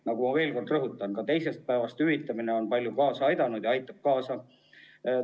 Ma veel kord rõhutan, et ka teisest haiguspäevast alates hüvitamine on palju kaasa aidanud ja aitab edaspidigi kaasa.